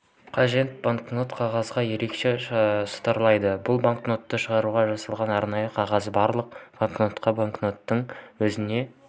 қажет банкнот қағазы ерекше шытырлайды бұл банкнотты шығаруға жасалған арнайы қағаз барлық банкнотқа банкноттың өзіне